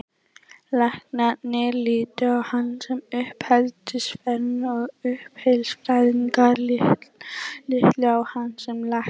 Læknarnir litu á hann sem uppeldisfræðing og uppeldisfræðingarnir litu á hann sem lækni.